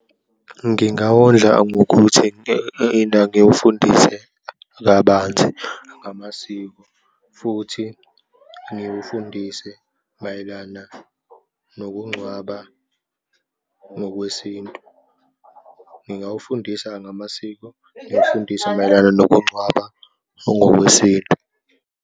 Ngingawondla ngokuthi ngiwufundise kabanzi ngamasiko futhi ngiwufundise mayelana nokungcwaba ngokwesintu. Ngingawufundisa ngamasiko, ngiwufundise mayelana nokungcwaba ongokwesintu.